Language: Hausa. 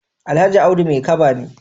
Alhaji Audu Maikaba ne.